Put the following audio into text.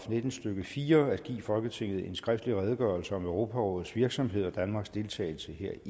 nitten stykke fire at give folketinget en skriftlig redegørelse om europarådets virksomhed og danmarks deltagelse